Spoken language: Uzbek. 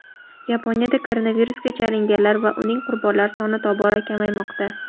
Yaponiyada koronavirusga chalinganlar va uning qurbonlari soni tobora kamaymoqda.